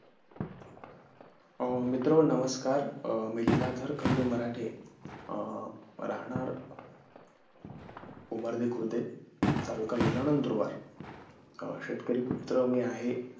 मीत्र हो नमस्कार मी लीलाधर खंडू मराठे राहणार उमर वि खुर्डे तालुका जिल्हा नंदुरबार तर शेतकरी पुत्र मी आहे